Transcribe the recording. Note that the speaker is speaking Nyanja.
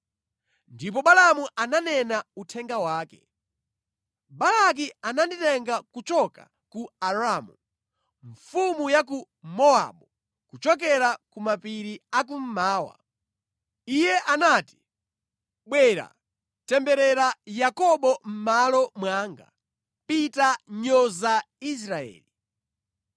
Ndipo Balaamu ananena uthenga wake: “Balaki ananditenga kuchoka ku Aramu, mfumu ya ku Mowabu kuchokera ku mapiri a kummawa. Iye anati, ‘Bwera, temberera Yakobo mʼmalo mwanga, pita nyoza Israeli.’